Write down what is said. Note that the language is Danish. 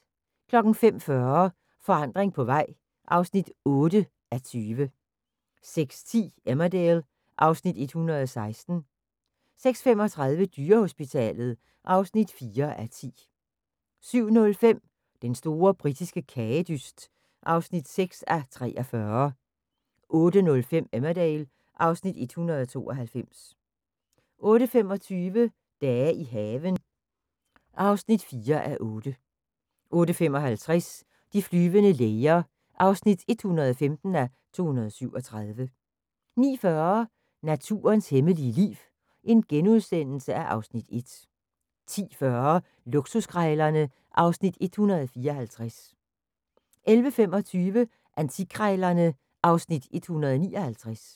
05:40: Forandring på vej (8:20) 06:10: Emmerdale (Afs. 116) 06:35: Dyrehospitalet (4:10) 07:05: Den store britiske kagedyst (6:43) 08:05: Emmerdale (Afs. 192) 08:25: Dage i haven (4:8) 08:55: De flyvende læger (115:237) 09:40: Naturens hemmelige liv (Afs. 1)* 10:40: Luksuskrejlerne (Afs. 154) 11:25: Antikkrejlerne (Afs. 159)